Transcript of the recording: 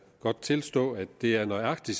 godt tilstå at det er nøjagtig